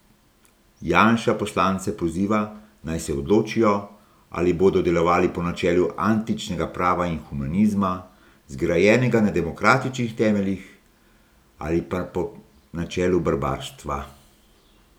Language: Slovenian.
Janša poslance poziva, naj se odločijo, ali bodo delovali po načelu antičnega prava in humanizma, zgrajenega na demokratičnih temeljih, ali pa po načelu barbarstva.